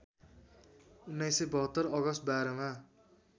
१९७२ August १२ मा